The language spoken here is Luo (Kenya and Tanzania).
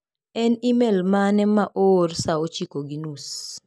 En emel mane ma oor saa ochiko gi nus?